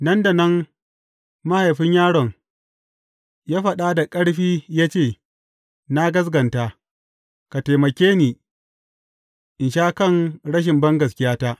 Nan da nan mahaifin yaron ya faɗa da ƙarfi ya ce, Na gaskata, ka taimake ni in sha kan rashin bangaskiyata!